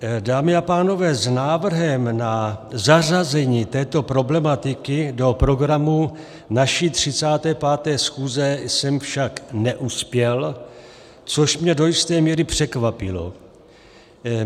Dámy a pánové, s návrhem na zařazení této problematiky do programu naší 35. schůze jsem však neuspěl, což mě do jistě míry překvapilo.